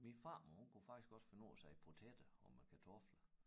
Min farmor hun kunne faktisk også finde på at sige patater om æ kartofler